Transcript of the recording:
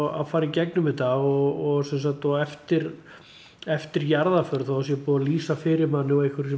að fara í gegnum þetta og eftir eftir jarðaför þó það sé búið að lýsa fyrir manni og eitthverju sem